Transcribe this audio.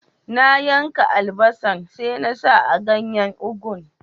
Na yanka albasan, sai na sa a ganyen ugu'n.